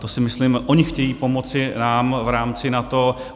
To si myslím - oni chtějí pomoci nám v rámci NATO.